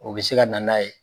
O bɛ se ka na n'a ye.